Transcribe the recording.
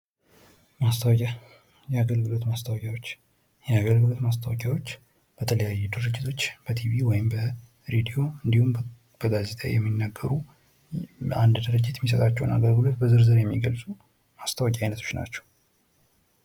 ማስታወቂያ የአገልግሎት ማስታወቂያዎች፤ የአገልግሎት ማስታወቂያዎች በተለያዩ ድርጅቶች በቲቪ ወይም በሬድዮ እንዲሁም በጋዜጣዊ የሚነገሩ በአንድ ድርጅት የሚሰጣቸውን አገልግሎት በዝርዝር የሚገልጹ ማስታወቂያ አይነቶች ናቸው።